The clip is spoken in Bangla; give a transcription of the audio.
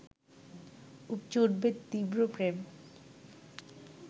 উপচে উঠবে তীব্র প্রেম